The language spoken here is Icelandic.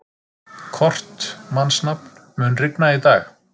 Kort (mannsnafn), mun rigna í dag?